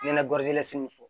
Nɛnɛ so